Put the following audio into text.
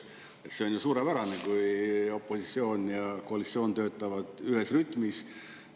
Sest see on ju suurepärane, kui opositsioon ja koalitsioon töötavad ühes rütmis.